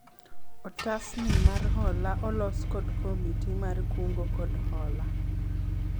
otas ni mar hola olos kod komiti mar kungo kod hola